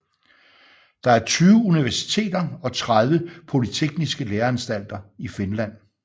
Der er 20 universiteter og 30 polytekniske læreanstalter i Finland